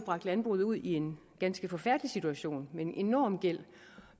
bragt landbruget ud i en ganske forfærdelig situation med en enorm gæld